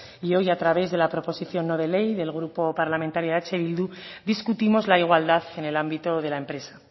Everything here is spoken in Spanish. y hoy a través de la proposición no de ley del grupo parlamentario eh bildu discutimos la igualdad en el ámbito de la empresa